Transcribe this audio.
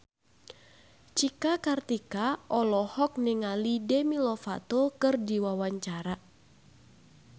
Cika Kartika olohok ningali Demi Lovato keur diwawancara